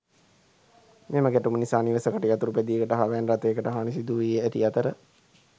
මෙම ගැටුම නිසා නිවසකට යතුරු පැදියකට හා වෑන් රථයට හානි සිදුව ඇති අතර